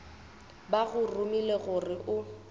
ba go romile gore o